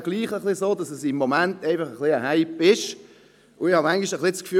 Es ist gleichwohl so, dass es im Moment ein wenig ein Hype ist.